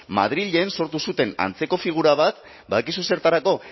madrilen sortu zuten antzeko figura bat badakizu zertarako